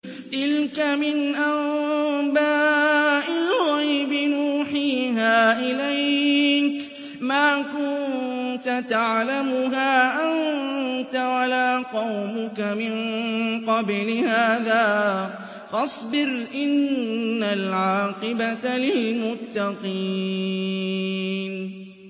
تِلْكَ مِنْ أَنبَاءِ الْغَيْبِ نُوحِيهَا إِلَيْكَ ۖ مَا كُنتَ تَعْلَمُهَا أَنتَ وَلَا قَوْمُكَ مِن قَبْلِ هَٰذَا ۖ فَاصْبِرْ ۖ إِنَّ الْعَاقِبَةَ لِلْمُتَّقِينَ